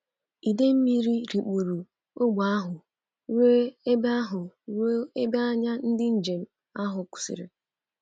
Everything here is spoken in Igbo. Ide mmiri rikpuru ógbè ahụ ruo ebe ahụ ruo ebe anya ndị njem ahụ kwụsịrị.